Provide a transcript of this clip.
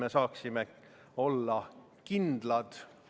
Neljas muudatusettepanek, mille on esitanud Eesti Reformierakonna fraktsioon.